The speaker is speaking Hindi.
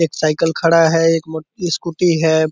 एक साइकिल खड़ा है एक मो स्कूटी है |